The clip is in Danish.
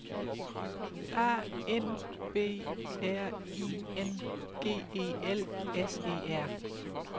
A N B R I N G E L S E R